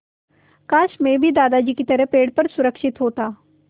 काश मैं भी दादाजी की तरह पेड़ पर सुरक्षित होता